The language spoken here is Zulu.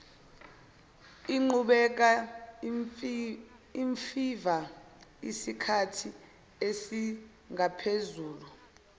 iqhubeka imfiva isikhathiesingaphezulu